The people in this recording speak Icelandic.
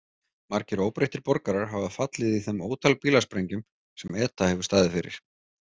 Margir óbreyttir borgarar hafa fallið í þeim ótal bílasprengjum sem ETA hefur staðið fyrir.